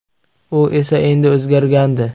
U esa endi o‘zgargandi.